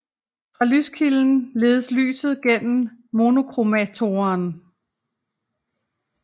Fra lyskilden ledes lyset gennem monochromatoren